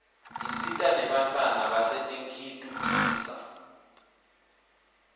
isita nenbantfwana basetinkitucisa